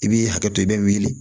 I b'i hakɛ to i bɛ wuli